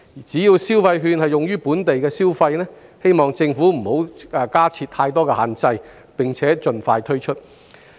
只要消費券是用於本地的消費，我們希望政府不要加設太多限制，並且盡快推出。